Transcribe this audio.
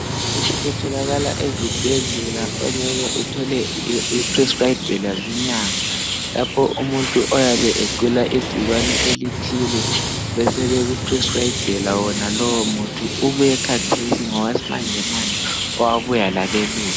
Lokhu kutholakala ezibhedlela ongeke uthole beprescabhela zinyanga lapho umuntu oyabe egula ingcikwane elithile besebe kuprescribhela wonalowo muthi ubuye khathesi ngowesimanjemanje owabuya labelungu.